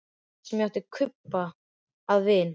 Það var ég sem átti Kubba að vin.